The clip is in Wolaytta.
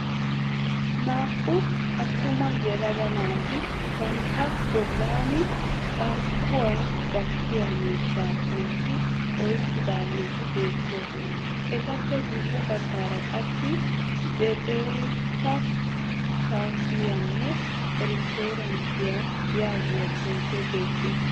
Naa"u attuma yelaga naati bantta bollan carkkuwaa gattiyaa miishshaa xomppi eqqidaageeti beettoosona. Etappe guyye baggaara qassi " zetsaate kaafiyanne restooranttiya" yaagiya xuufee beettes.